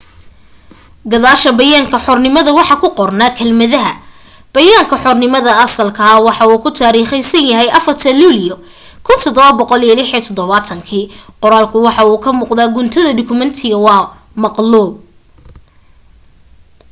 gadaasha bayaanka xornimada waxa ku qornaa kelmadaha bayaanka xornimada asalka ah waxa uu ku taariikhaysan yahay 4ta luulyo 1776”. qoraalku waxa uu ka muuqda gunta dukumeentiga waana maqluub